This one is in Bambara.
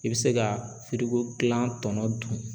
I bɛ se ka firiko kilan tɔnɔ dun.